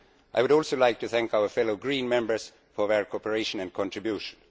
I would also like to thank my fellow Green Members for their cooperation and contribution.